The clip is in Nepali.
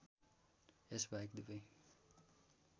यस बाहेक दुबै